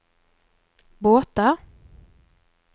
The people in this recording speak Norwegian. båter